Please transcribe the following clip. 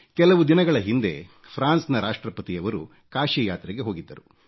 ಕೆಲವು ದಿನಗಳ ಹಿಂದೆ ಫ್ರಾನ್ಸ್ ನ ರಾಷ್ಟ್ರಪತಿಯವರು ಕಾಶಿಗೆ ಯಾತ್ರೆ ಹೋಗಿದ್ದರು